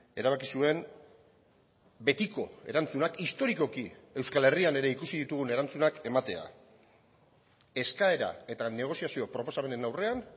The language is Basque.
erabaki zuen betiko erantzunak historikoki euskal herrian ere ikusi ditugun erantzunak ematea eskaera eta negoziazio proposamenen aurrean